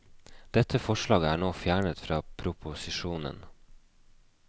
Dette forslaget er nå fjernet fra proposisjonen.